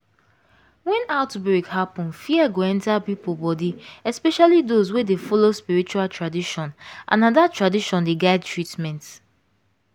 when outbreak happen fear go enter people body especially those wey dey follow spiritual tradition and na that tradition dey guide treatment.